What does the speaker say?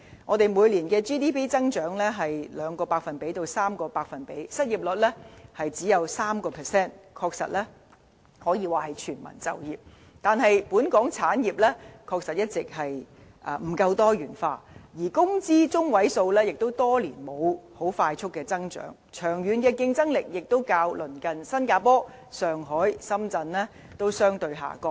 我們每年的 GDP 增長是 2% 至 3%， 失業率只有 3%， 的確可說是全民就業，但本港產業一直不夠多元化，而工資中位數亦多年沒有快速增長，長遠競爭力亦較鄰近的新加坡、上海或深圳相對下降。